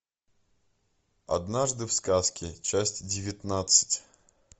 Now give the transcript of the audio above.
однажды в сказке часть девятнадцать